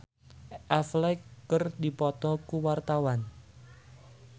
Cakra Khan jeung Ben Affleck keur dipoto ku wartawan